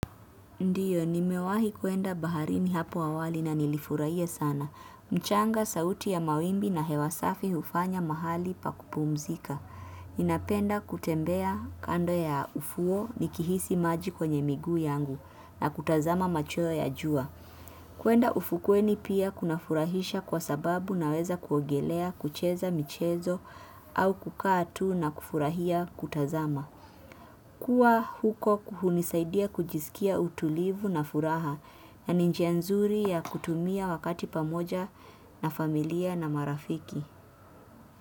Ndiyo, nimewahi kuenda baharini hapo awali na nilifurahia sana. Mchanga, sauti ya mawimbi na hewa safi hufanya mahali pa kupumzika. Ninapenda kutembea kando ya ufuo nikihisi maji kwenye miguu yangu na kutazama machwo ya jua. Kuenda ufukweni pia kuna furahisha kwa sababu naweza kuogelea, kucheza michezo au kukaa tu na kufurahia kutazama. Kuwa huko kuhunisaidia kujiskia utulivu na furaha na ni njia nzuri ya kutumia wakati pamoja na familia na marafiki.